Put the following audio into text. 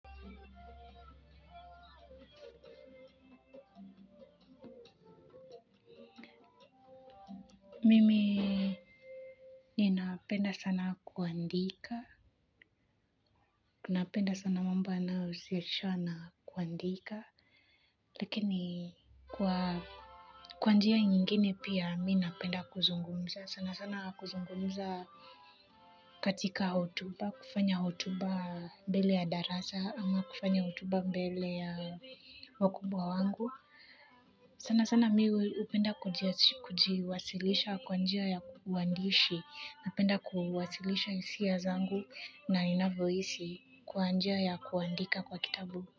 Mimi ninapenda sana kuandika, napenda sana mambo yanahusisha na kuandika, lakini kwa kwa njia nyingine pia mi napenda kuzungumza, sana sana kuzungumza katika hotuba, kufanya hotuba mbele ya darasa ama kufanya hotuba mbele ya wakubwa wangu. Sanasana mi hupenda kujiwasilisha kwa njia ya uandishi, napenda kuwasilisha hisia zangu, na ninavyohisi kwa njia ya kuandika kwa kitabu.